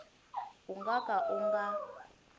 u nga ka u nga